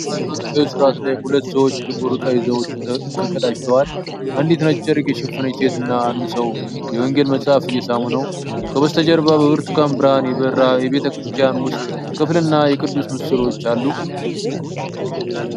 በሃይማኖታዊ ሥርዓት ላይ ሁለት ሰዎች ጥቁር ቀይ ዘውድ ተቀዳጅተዋል። አንዲት ነጭ ጨርቅ የሸፈነች ሴት እና አንድ ሰው የወንጌል መጽሐፍ እየሳሙ ነው። ከበስተጀርባ በብርቱካን ብርሃን የበራ የቤተ ክርስቲያን ውስጥ ክፍልና የቅዱስ ምስሎች አሉ።